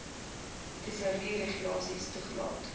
tesourie regulasies toegelaat